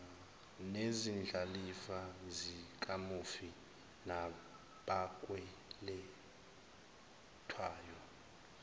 nezindlalifa zikamufi nabakweletwayo